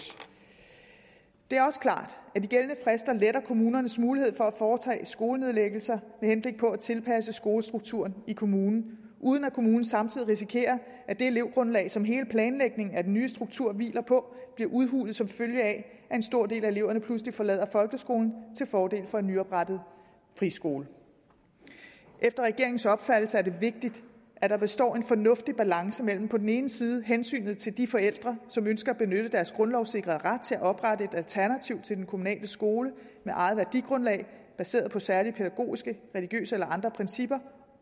det er også klart at de gældende frister letter kommunernes mulighed for at foretage skolenedlæggelser med henblik på at tilpasse skolestrukturen i kommunen uden at kommunen samtidig risikerer at det elevgrundlag som hele planlægningen af den nye struktur hviler på bliver udhulet som følge af at en stor del af eleverne pludselig forlader folkeskolen til fordel for en nyoprettet friskole efter regeringens opfattelse er det vigtigt at der består en fornuftig balance mellem på den ene side hensynet til de forældre som ønsker at benytte deres grundlovssikrede ret til at oprette et alternativ til den kommunale skole med eget værdigrundlag baseret på særlige pædagogiske religiøse eller andre principper